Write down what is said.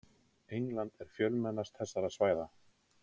England er fjölmennast þessara svæða.